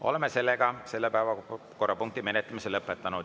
Oleme selle päevakorrapunkti menetlemise lõpetanud.